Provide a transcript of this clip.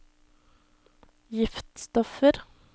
giftstoffer